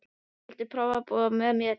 Viltu prófa að búa með mér.